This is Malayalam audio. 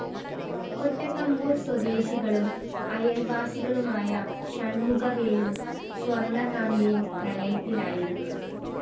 കൊട്ടാക്കമ്പൂര്‍ സ്വദേശികളും അയല്‍വാസികളുമായ ഷണ്‍മുഖവേലും സ്വര്‍ണകാന്തിയും പ്രണയത്തിലായിരുന്നു